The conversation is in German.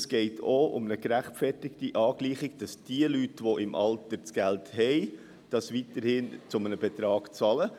Es geht auch um eine gerechtfertigte Angleichung, damit diese Leute, die im Alter das Geld dazu haben, weiterhin einen Betrag zahlen.